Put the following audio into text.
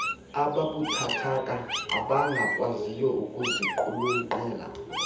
ababuthathaka abangakwaziyo ukuziqulunqela